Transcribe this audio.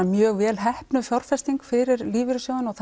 mjög vel heppnuð fjárfesting fyrir lífeyrissjóðina og